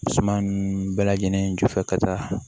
Suma nunnu bɛɛ lajɛlen ju fɛ ka taa